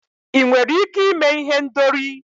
ị nwere ike ime ihendori?